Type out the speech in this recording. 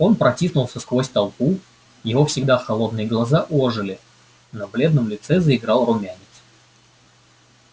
он протиснулся сквозь толпу его всегда холодные глаза ожили на бледном лице заиграл румянец